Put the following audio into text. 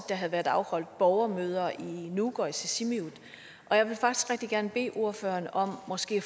der har været afholdt borgermøder i nuuk og i sisimiut jeg vil faktisk rigtig gerne bede ordføreren om måske